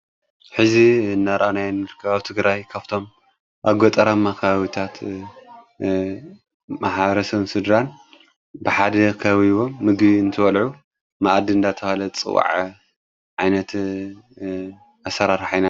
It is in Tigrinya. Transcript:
ሕዚ ነራኣናይ ንርካባ ትግራይ ካፍቶም ኣጐጠራ መኽዊታት መሓረሰም ስድራን ብሓደ ኸውቦም ምግ እንትወልዑ መእድንዳተውሃለ ጽዋዓ ዓይነት ኣሠራርሓ ኢና።